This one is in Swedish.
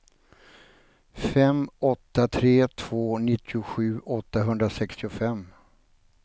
fem åtta tre två nittiosju åttahundrasextiofem